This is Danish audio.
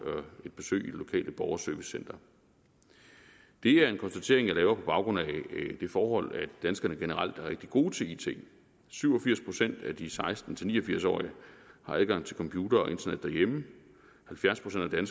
et besøg i det lokale borgerservicecenter det er en konstatering jeg laver på baggrund af det forhold at danskerne generelt er rigtig gode til it syv og firs procent af de seksten til ni og firs årige har adgang til computer og internet derhjemme halvfjerds procent af